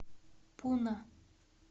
пуна